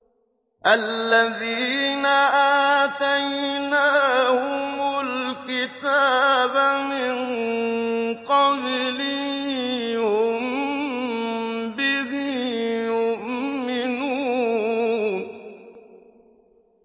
الَّذِينَ آتَيْنَاهُمُ الْكِتَابَ مِن قَبْلِهِ هُم بِهِ يُؤْمِنُونَ